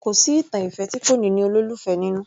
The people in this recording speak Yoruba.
Kò sí ìtàn ìfẹ́ tí kò ní ní olólùfẹ́ nínú